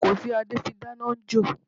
Ìkòkò tí Adé fi dáná n jò